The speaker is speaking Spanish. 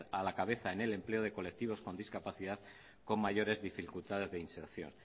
a la cabeza en el empleo de colectivos con discapacidad con mayores dificultades de inserción